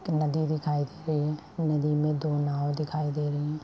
एक नदी दिखाई दे रही है नदी में दो नाव दिखाई दे रहे हैं।